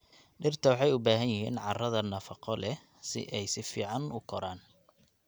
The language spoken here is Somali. Dhirta waxay u baahan yihiin carrada na nafaqo leh si ay si fiican u koraan.